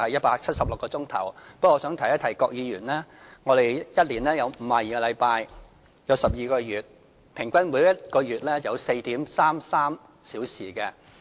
不過，我想提一提郭議員，我們一年有12個月，合共52個星期，即平均每個月有 4.33 周。